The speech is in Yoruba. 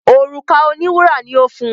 òrùka òní wúrà ní o fún.